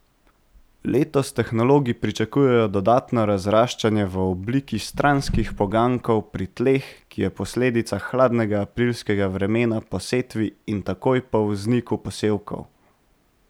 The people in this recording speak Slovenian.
Letos tehnologi pričakujejo dodatno razraščanje v obliki stranskih poganjkov pri tleh, ki je posledica hladnega aprilskega vremena po setvi in takoj po vzniku posevkov.